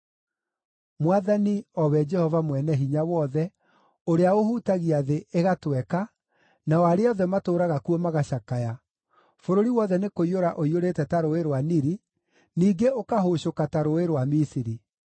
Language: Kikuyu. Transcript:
Mwathani, o we Jehova Mwene-Hinya-Wothe, ũrĩa ũhutagia thĩ, ĩgatweka, nao arĩa othe matũũraga kuo magacakaya, bũrũri wothe nĩkũiyũra ũiyũrĩte ta Rũũĩ rwa Nili, ningĩ ũkahũcũka ta rũũĩ rwa Misiri,